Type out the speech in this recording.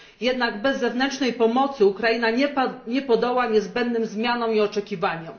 Jednak bez zewnętrznej pomocy Ukraina nie podoła niezbędnym zmianom i oczekiwaniom.